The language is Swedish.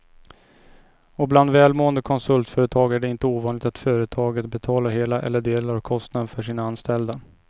Och bland välmående konsultföretag är det inte ovanligt att företaget betalar hela eller delar av kostnaden för sina anställda.